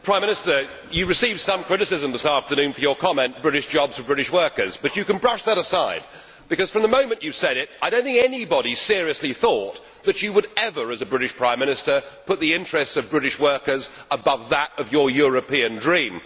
Mr President, the Prime Minister has received some criticism this afternoon for his comment British jobs for British workers', but you can brush that aside, because from the moment he said it I do not think anybody seriously thought that he would ever, as a British Prime Minister, put the interests of British workers above that of his European dream.